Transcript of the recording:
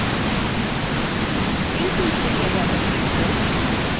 in tutorialwe আমরা শিখব